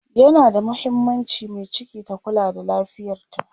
yana da mahimmaanci Mai ciki ta Kula da lafiyarta